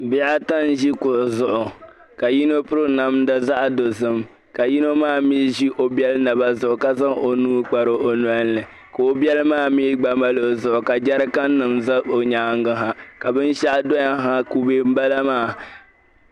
Bihi ata n-ʒi kuɣu, ka yino piri namda zaɣa dozim. Ka yino maa mi ʒi o biɛli naba zuɣu ka zaŋ o nuu kpari o noli ni ka o biɛli maa mi gba mali o zuɣu, ka jericannim za o nyaangi ha. Ka binshɛɣu doya ha, kube m-bala maa.